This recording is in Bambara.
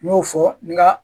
N y'o fɔ nka